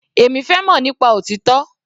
Èmi fẹ́ mọ̀ nípa òtítọ́.